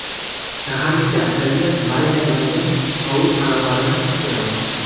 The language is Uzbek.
Saharlikka asalga marinadlangan tovuq qanotlarini pishiramiz.